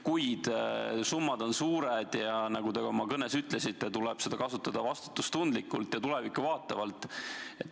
Kuid summad on suured ja, nagu te ka oma kõnes ütlesite, tuleb neid kasutada vastutustundlikult ja tulevikku vaatavalt.